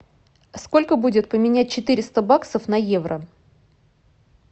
сколько будет поменять четыреста баксов на евро